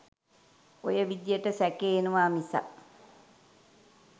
ඔය විදිහට සැකය එනවා මිසක්